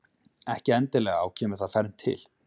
Ekki endilega og kemur þar fernt til.